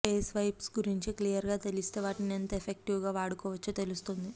face wipes గురించి clear గా తెలిస్తే వాటిని ఎంత ఎఫెక్టివ్ గా వాడుకోవచ్చో తెలుస్తుంది